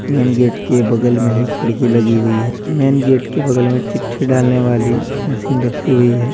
Main gate के बगल में ही खिड़की लगी हुई है मेन गेट के बगल में चिट्ठी डालने वाली मशीन रखी हुई है।